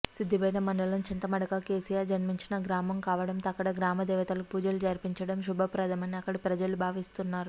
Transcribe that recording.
సిద్దిపేట మండలం చింతమడక కేసీఆర్ జన్మించిన గ్రామం కావటంతో ఇక్కడ గ్రామదేవతలకు పూజలు జరిపించటం శుభప్రదమని అక్కడి ప్రజలు భావిస్తున్నారు